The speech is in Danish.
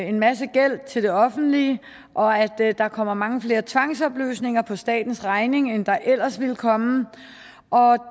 en masse gæld til det offentlige og at der der kom mange flere tvangsopløsninger på statens regning end der ellers ville komme og